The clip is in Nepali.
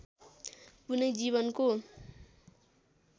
कुनै जीवको